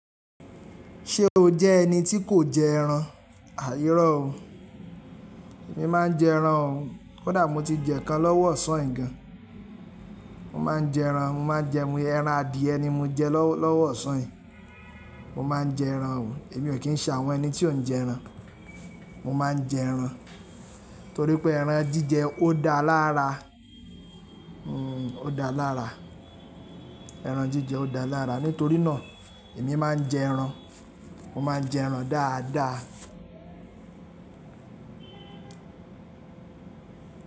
Ṣé o jẹ́ ẹni tí kò jẹ ẹran? Àh ìró o, èmi máa ń jẹ ẹran o. Kódà mo ti jẹ ká lọ́wọ́ ọ̀sán yìí gan. Mo máa ń jẹ ẹran, mo máa ń jẹ ẹran, ẹran adìẹ ni mo jẹ lọ́wọ́ ọ̀sán yìí. Mo máa ń jẹ ẹran o, èmi ò kí ń ṣà àwọn ẹni tí ò ń jẹ ẹran. Mo máa ń jẹ ẹran, torí pé ẹran jíjẹ ó dáa lára, o dáa lára, ẹran jíjẹ ó dáa lára. Nítorí náà èmi máa ń jẹ ẹran. Mo máa ń jẹ ẹran dáadáa.